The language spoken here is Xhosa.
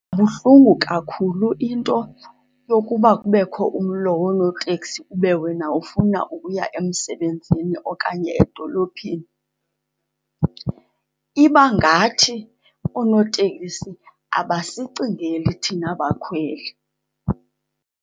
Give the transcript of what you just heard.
Ibuhlungu kakhulu into yokuba kubekho umlo wonooteksi ube wena ufuna ukuya emsebenzini okanye edolophini. Iba ngathi oonotekisi abasicingeli thina bakhweli.